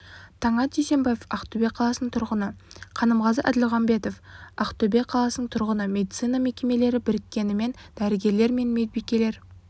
таңат дүйсенбаев ақтөбе қаласының тұрғыны қанымғазы әділмағамбетов ақтөбе қаласының тұрғыны медицина мекемелері біріккенімен дәрігерлер мен медбикелер